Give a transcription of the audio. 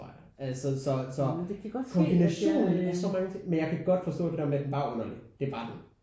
Altså så så kombinationen er så men jeg kan godt forstå det der med at den var underlig det var den